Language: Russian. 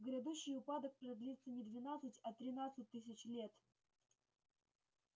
грядущий упадок продлится не двенадцать а тринадцать тысяч лет